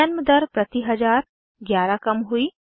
जन्म दर प्रति हजार 11 कम हुई